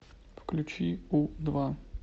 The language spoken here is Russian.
включи у два